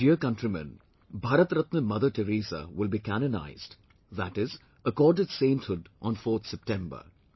My dear countrymen, Bharat Ratna Mother Teresa will be canonized, that is, accorded sainthood on 4th September